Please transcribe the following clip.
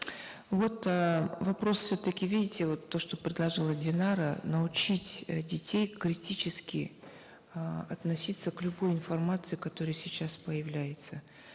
вот э вопрос все таки видите вот то что предложила динара научить э детей критически э относиться к любой информации которая сейчас появляется